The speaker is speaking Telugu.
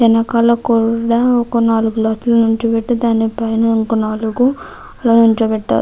వెనకాల కూడా ఒక నాలుగు గ్లాసులు నించోపెట్టారు. దానిపైన ఇంకో నాలుగు నించోపెట్టారు.